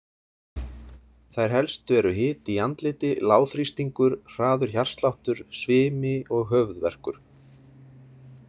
Þær helstu eru hiti í andliti, lágþrýstingur, hraður hjartsláttur, svimi og höfuðverkur.